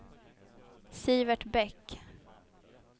Sivert Bäck